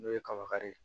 N'o ye kabakari ye